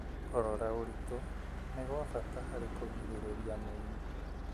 Kũrora ũritũ nĩ gwa bata harĩ kũgirĩrĩria mĩrimũ.